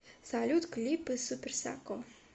салют клипы супер сако